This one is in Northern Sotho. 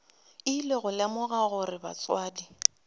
ile go lemoga gore batswadi